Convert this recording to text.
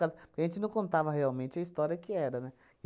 casa. Porque a gente não contava realmente a história que era, né?